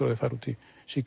að þau fari út í